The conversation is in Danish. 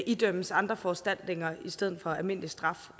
idømmes andre foranstaltninger i stedet for almindelig straf